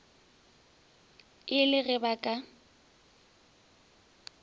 e le ge ba ka